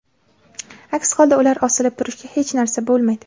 Aks holda ular osilib turishga hech narsa bo‘lmaydi”.